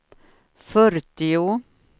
fyrtio